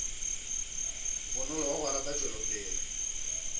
bonolo wa go rata tšwelopele